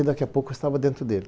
E daqui a pouco eu estava dentro dele.